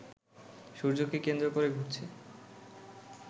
সূর্যকে কেন্দ্র করে ঘুরছে